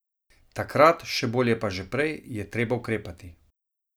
Takrat, še bolje pa že prej, je treba ukrepati.